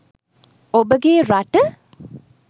ඔබගේ රට